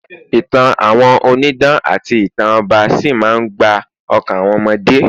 ìtàn àwọn onidan ati ìtàn ọba sí ma n gba okan àwọn omode